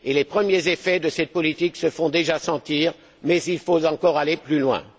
Les premiers effets de cette politique se font déjà sentir mais il faut encore aller plus loin.